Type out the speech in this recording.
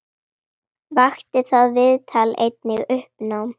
Vakti það viðtal einnig uppnám.